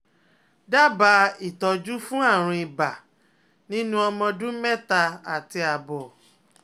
Dábàá ìtọ́jú fún àrùn ibà nínú ọmọ ọdún mẹ́ta àti àbọ̀